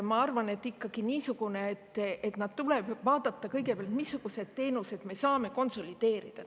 Ma arvan, et tegelikult tuleb kõigepealt ikkagi vaadata, missuguseid teenuseid me saame konsolideerida.